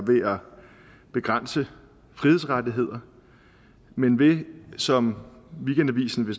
begrænse frihedsrettigheder men ved som weekendavisen